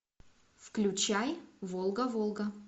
включай волга волга